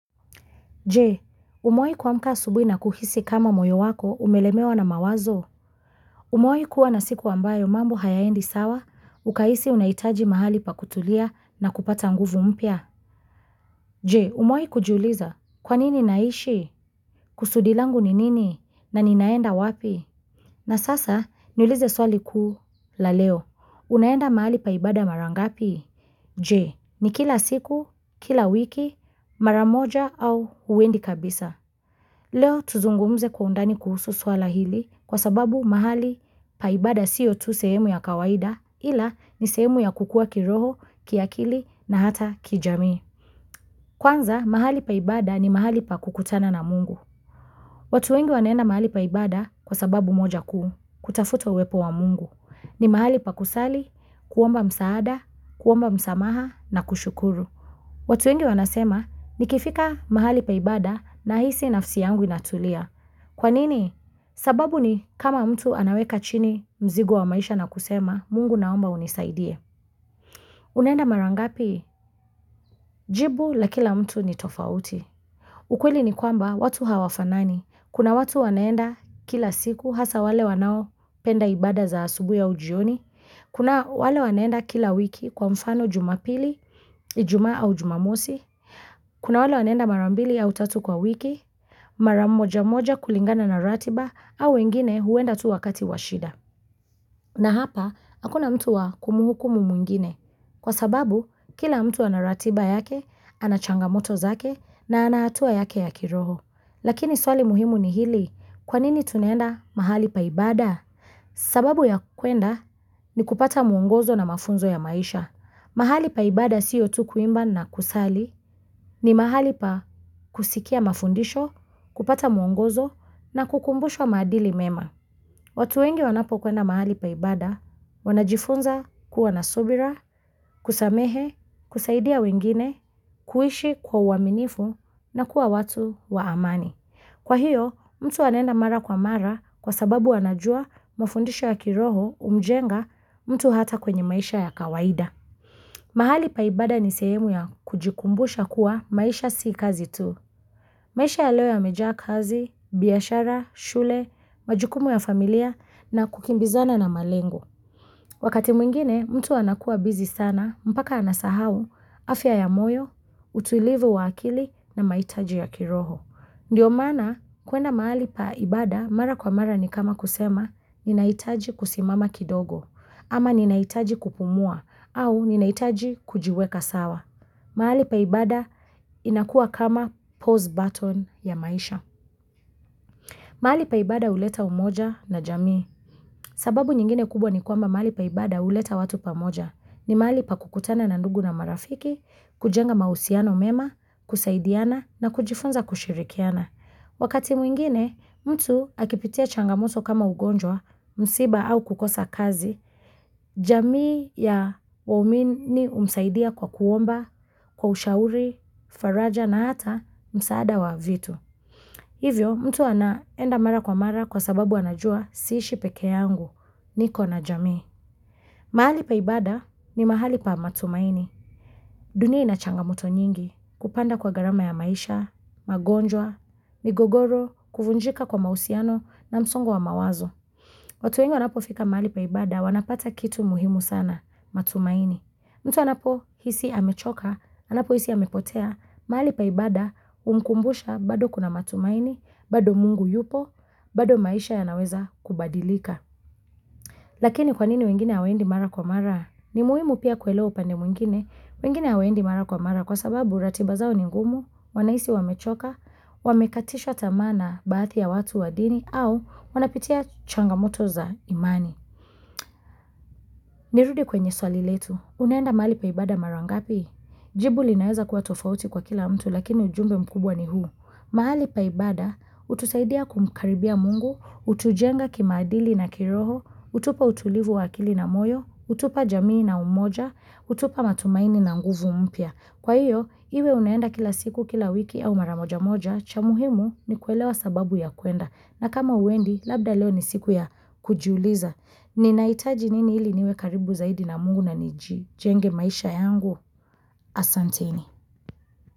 Je umewai kuamka asubuhi na kuhisi kama moyo wako umelemewa na mawazo Umewai kuwa na siku ambayo mambo hayaendi sawa ukahisi unahitaji mahali pa kutulia na kupata nguvu mpya Je umewai kujuuliza kwanini naishi kusudi langu ni nini na ninaenda wapi na sasa niulize swali kuu la leo unaenda mahali pa ibada mara ngapi Je ni kila siku kila wiki maramoja au huendi kabisa Leo tuzungumze kwa undani kuhusu swala hili kwa sababu mahali paibada siyo tu sehemu ya kawaida ila ni sehemu ya kukua kiroho, kiakili na hata kijamii. Kwanza mahali pa ibada ni mahali pa kukutana na mungu. Watu wengi wanenda mahali pa ibada kwa sababu moja kuu kutafuta uwepo wa mungu ni mahali pa kusali, kuomba msaada, kuomba msamaha na kushukuru. Watu wengi wanasema ni kifika mahali pa ibada na hisi nafsi yangu inatulia. Kwa nini? Sababu ni kama mtu anaweka chini mzigo wa maisha na kusema, mungu naomba unisaidie. Unaenda marangapi? Jibu la kila mtu ni tofauti. Ukweli ni kwamba watu hawafanani. Kuna watu wanaenda kila siku hasa wale wanao penda ibada za asubuhi au jioni. Kuna wale wanaenda kila wiki kwa mfano jumapili, ijuma au jumamosi. Kuna wale wanaenda marambili au tatu kwa wiki. Maramoja moja kulingana na ratiba au wengine huenda tu wakati washida na hapa, hakuna mtu wa kumuhukumu mwingine Kwa sababu, kila mtu anaratiba yake, anachangamoto zake na anahatua yake ya kiroho Lakini swali muhimu ni hili, kwanini tunaenda mahali paibada sababu ya kuenda ni kupata muongozo na mafunzo ya maisha mahali pa ibada sio tu kuimba na kusali ni mahali pa kusikia mafundisho, kupata mwongozo na kukumbushwa maadili mema watu wengi wanapo kwenda mahali paibada, wanajifunza kuwa nasubira, kusamehe, kusaidia wengine, kuishi kwa uaminifu na kuwa watu wa amani Kwa hiyo, mtu anaenda mara kwa mara kwa sababu wanajua mafundisho ya kiroho kumjenga mtu hata kwenye maisha ya kawaida mahali paibada ni sehemu ya kujikumbusha kuwa maisha si kazi tu. Maisha ya leo yamejaa kazi, biashara, shule, majukumu ya familia na kukimbizana na malengo. Wakati mwingine, mtu anakuwa busy sana mpaka anasahau, afya ya moyo, utulivu wa akili na mahitaji ya kiroho. Ndiyo maana kuenda mahali pa ibada mara kwa mara ni kama kusema ninaitaji kusimama kidogo ama ninaitaji kupumua au ninaitaji kujiweka sawa. Mahali pa ibada inakua kama pause button ya maisha. Mahali pa ibada huleta umoja na jamii. Sababu nyingine kubwa ni kwamba mahali pa ibada huleta watu pamoja ni mahali pa kukutana na ndugu na marafiki, kujenga mahusiano mema, kusaidiana na kujifunza kushirikiana. Wakati mwingine mtu akipitia changamoto kama ugonjwa, msiba au kukosa kazi, jamii ya waumini humsaidia kwa kuomba, kwa ushauri, faraja na hata msaada wa vitu. Hivyo mtu anaenda mara kwa mara kwa sababu anajua siishi peke yangu niko na jamii. Mahali paibada ni mahali pa matumaini. Dunia inachangamoto nyingi kupanda kwa gharama ya maisha, magonjwa, migogoro, kufunjika kwa mahusiano na msongo wa mawazo. Watu wengi wanapofika mahali paibada wanapata kitu muhimu sana matumaini. Mtu anapohisi amechoka, anapohisi amepotea, mahali pa ibada humkumbusha bado kuna matumaini, bado mungu yupo, bado maisha yanaweza kubadilika. Lakini kwanini wengine hawaendi mara kwa mara? Ni muhimu pia kuelewa upande mwingine. Wengine hawendi mara kwa mara kwa sababu ratiba zao ni ngumu, wanahisi wamechoka, wamekatishwa tamaa na baadhi ya watu wa dini au wanapitia changamoto za imani. Nirudi kwenye swali letu, unaenda mahali pa ibada mara ngapi? Jibu linaeza kuwa tofauti kwa kila mtu lakini ujumbe mkubwa ni huu. Mahali pa ibada, hutusaidia kumkaribia mungu, hutujenga kimaadili na kiroho, hutupa utulivu wa akili na moyo, hutupa jamii na umoja, hutupa matumaini na nguvu mpya. Kwa hiyo, iwe unaenda kila siku kila wiki au maramoja moja cha muhimu ni kuelewa sababu ya kuenda na kama huendi labda leo ni siku ya kujiuliza. Ninahitaji nini ili niwe karibu zaidi na mungu na nijijenge maisha yangu Asanteni.